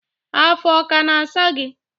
afọ ọ kana asa gi?